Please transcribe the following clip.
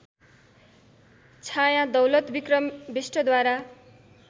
Chhaya Daulatbikram बिष्टद्वारा